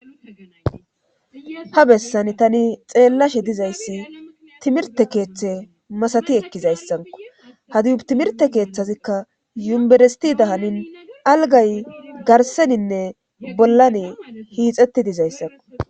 Ha bessan tani xeellashe dizayssi timirte keeththe masati ekkizayssanko hadiyu timirte keeththazikka yumberesti dahanin algay garseninne bollan hiixetti dizayssanko